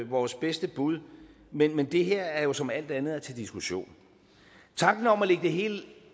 vores bedste bud men men det her er jo som alt andet til diskussion tanken om at lægge det hele